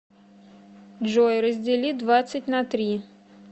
джой раздели двадцать на три